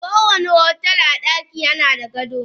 Kowani daki a otel nada gado.